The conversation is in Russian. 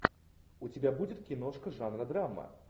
у тебя будет киношка жанра драма